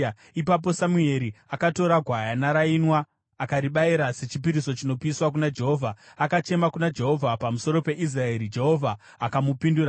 Ipapo Samueri akatora gwayana rainwa akaribayira sechipiriso chinopiswa kuna Jehovha. Akachema kuna Jehovha pamusoro peIsraeri, Jehovha akamupindura.